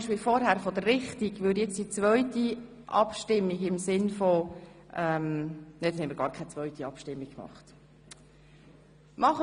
Sie haben den Antrag des Regierungsrats zu Artikel 10 Absatz 2 angenommen.